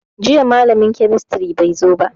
Jiya malamin kemistry bai zo ba